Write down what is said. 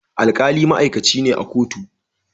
alkali ma'aikaci ne a kotu